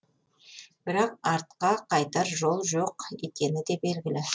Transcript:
бірақ артқа қайтар жол жоқ екені де белгілі